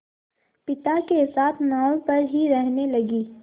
पिता के साथ नाव पर ही रहने लगी